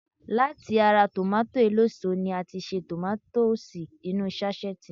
Láti ara tòmátósì eléso ni a ti ṣe tòmátósì inú ú sáṣẹ́ẹ̀tì